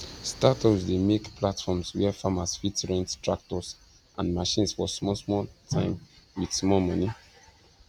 startups dey make platforms where farmers fit rent tractors and machines for smallsmall time with small money